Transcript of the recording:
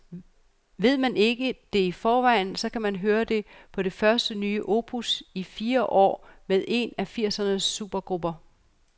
Ved man ikke det i forvejen, så kan man høre det på det første nye opus i fire år med en af firsernes supergrupper.